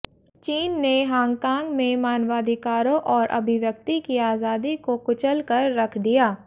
चीन ने हांगकांग में मानवाधिकारों और अभिव्यक्ति की आजादी को कुचल कर रख दिया